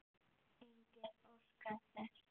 Enginn óskar þess.